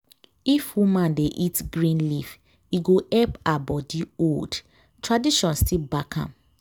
if woman dey eat green leaf e go help her body hold. tradition still back am